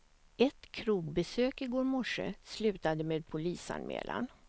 Ett krogbesök i går morse slutade med polisanmälan.